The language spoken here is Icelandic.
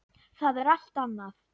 Það er allt annað.